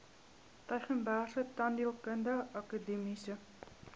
tygerbergse tandheelkundige akademiese